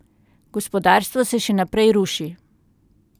Gospodarstvo se še naprej ruši.